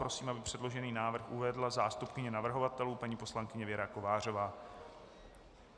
Prosím, aby předložený návrh uvedla zástupkyně navrhovatelů paní poslankyně Věra Kovářová.